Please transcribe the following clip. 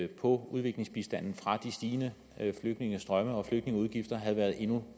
på udviklingsbistanden fra de stigende flygtningestrømme og flygtningeudgifter havde været endnu